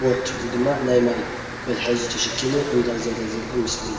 ቦጥ ወይድማ ናይ ማይ መትሓዚ ተሸኪሙ እንዳዘረ ዘርኢ ምስሊ እዩ።